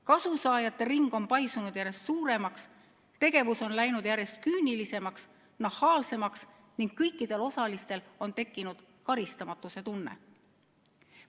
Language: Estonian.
Kasusaajate ring on paisunud järjest suuremaks, tegevus on läinud järjest küünilisemaks ja nahaalsemaks ning kõikidel osalistel on tekkinud karistamatuse tunne.